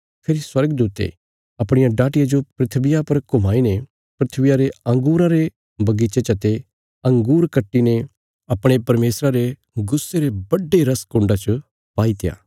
फेरी स्वर्गदूते अपणिया डाटिया जो धरतिया पर घुमाईने धरतिया रे अंगूरां रे बगीचे चते अंगूर कट्टीने अपणे परमेशरा रे गुस्से रे बड्डे रस कुण्डा च पाईत्या